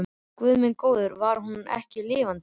Guð minn góður, hún var ekki lifandi.